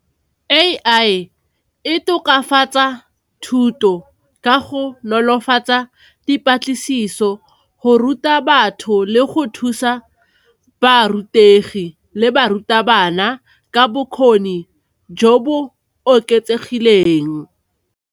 A_I e tokafatsa thuto ka go nolofatsa dipatlisiso go ruta batho le go thusa ba rutegi le barutabana ka bokgoni jo bo oketsegileng.